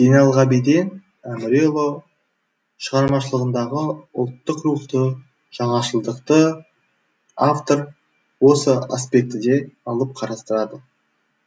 зейнелғабиден әміреұлы шығармашылығындағы ұлттық рухты жаңашылдықты автор осы аспектіде алып қарастырады